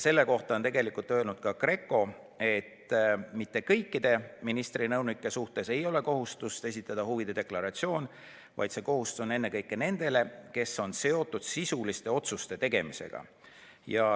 Selle kohta on tegelikult öelnud ka GRECO, et mitte kõikide ministri nõunike suhtes ei kehti kohustus esitada huvide deklaratsioon, vaid see kohustus kehtib ennekõike nende puhul, kes on seotud sisuliste otsuste tegemisega.